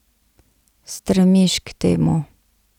Stremiš k temu.